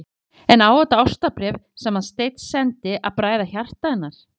Lillý Valgerður: En á þetta ástarbréf sem að Steinn sendi að bræða hjarta hennar?